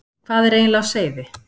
Hvað er eiginlega á seyði?